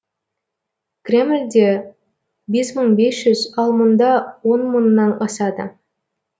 кремльде бес мың бес жүз ал мұнда он мыңнан асады